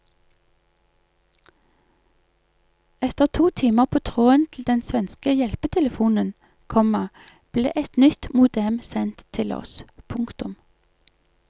Etter to timer på tråden til den svenske hjelpetelefonen, komma ble et nytt modem sendt til oss. punktum